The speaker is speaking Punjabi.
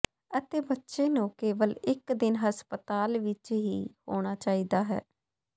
ਅਤੇ ਬੱਚੇ ਨੂੰ ਕੇਵਲ ਇੱਕ ਦਿਨ ਹਸਪਤਾਲ ਵਿੱਚ ਹੀ ਹੋਣਾ ਚਾਹੀਦਾ ਹੈ